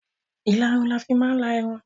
Ìlarun ní a fi máa ń la Irun